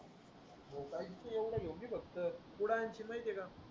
तू येवडा घेऊन ये फक्त कुड आणशील माहितीये का